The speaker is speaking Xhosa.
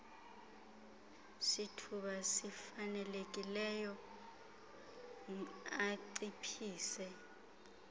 sithuba sifanelekileyo anciphise